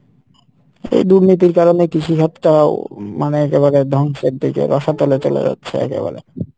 এই দুর্নীতির কারণে কৃষি ক্ষেতটাও মনে হইতে পারে ধ্বংস এর দিকে রসাতলে চলে যাচ্ছে একেবারে